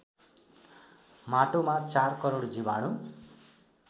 माटोमा ४ करोड जीवाणु